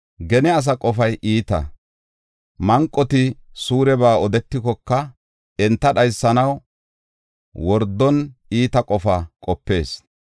Gene asa qofay iita; manqoti suureba odetikoka enta dhaysanaw wordon iita qofa qopees.